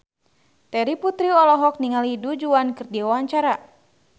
Terry Putri olohok ningali Du Juan keur diwawancara